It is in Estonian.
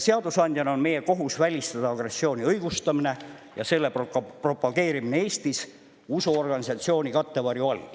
Seadusandjana on meie kohus välistada agressiooni õigustamine ja selle propageerimine Eestis usuorganisatsiooni kattevarju all.